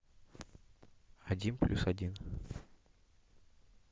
один плюс один